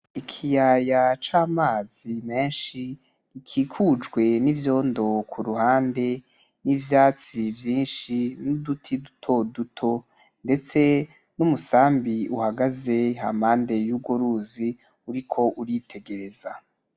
Ikiyaya c'amazi menshi gikikujwe n'ivyondo kuruhande n'ivyatsi vyinshi n'uduti dutoduto ndetse n'umusambi uhagaze hampande y'urwo ruzi uriko uritegereza.